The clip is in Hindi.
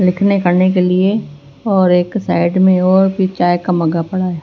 लिखने पढ़ने के लिएऔर एक साइड में और भी चाय का मग्गा पड़ा है।